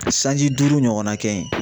Sanji duuru ɲɔgɔnna kɛ yen